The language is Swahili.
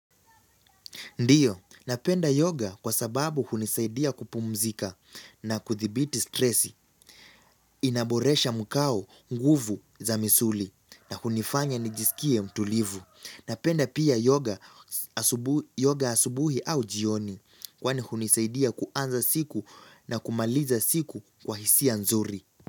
Ndio, napenda yoga kwa sababu hunisaidia kupumzika na kudhibiti stresi, inaboresha mkao, nguvu za misuli na hunifanya nijisikie mtulivu. Napenda pia yoga asubuhi au jioni kwani hunisaidia kuanza siku na kumaliza siku kwa hisia nzuri.